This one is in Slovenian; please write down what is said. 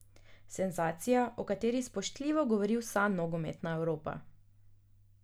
Senzacija, o kateri spoštljivo govori vsa nogometna Evropa.